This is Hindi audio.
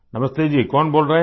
नमस्ते जी कौन बोल रहे हैं